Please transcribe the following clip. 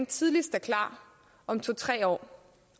tidligst om to tre år